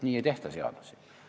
Nii ei tehta seadusi!